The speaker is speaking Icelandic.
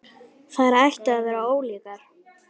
Þær ættu að vera ólíkar.